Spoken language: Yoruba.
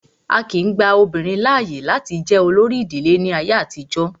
Á kìí gba obìnrin láàyè láti jẹ olórí ìdílé ní àtijọ́.